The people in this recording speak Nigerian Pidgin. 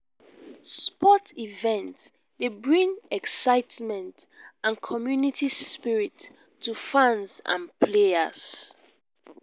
sports events dey bring excitement and community spirit to fans and players.